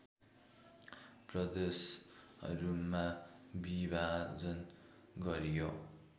प्रदेशहरूमा विभाजन गरियो